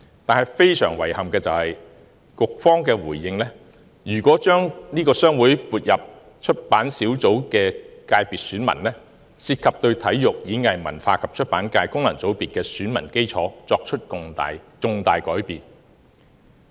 但是，非常遺憾的是，局方回應表示，如果將商會成員撥入出版小組的選民界別，涉及對體育、演藝、文化及出版界功能界別的選民基礎作出重大改變。